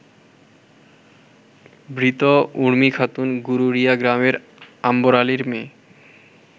মৃত উর্মিখাতুন গরুরিয়া গ্রামের আম্বর আলীর মেয়ে।